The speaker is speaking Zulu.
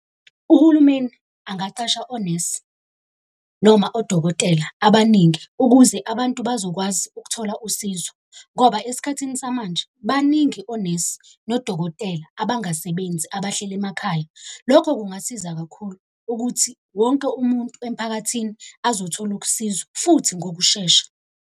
Uhulumeni angaqasha onesi noma odokotela abaningi ukuze abantu bazokwazi ukuthola usizo ngoba esikhathini samanje baningi onesi nodokotela abangasebenzi abahleli emakhaya. Lokho kungasiza kakhulu ukuthi wonke umuntu emphakathini azothola ukusizwa futhi ngokushesha.